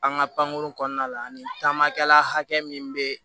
An ka pankurun kɔnɔna la ani taamakɛla hakɛ min bɛ